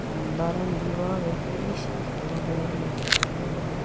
और लार दीवार है